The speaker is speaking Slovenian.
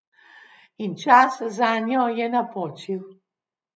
In čas zanjo je napočil.